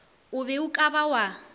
be o ka ba wa